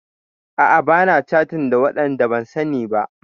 A'a bana catin da waɗanda ban sani ba.